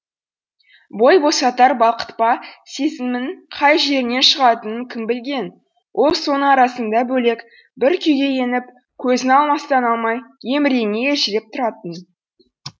бой босатар бақытпа сезімінің қай жерінен шығатынын кім білген ол соның арасында бөлек бір күйге еніп көзін алыстан алмай емірене елжіреп тұратын